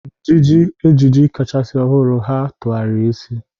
N'iji ejiji kachasị ọhụrụ, ha tụgharịrị isi.